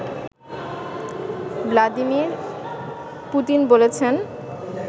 Vladimir Putin বলেছেন